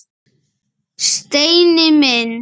Steini minn!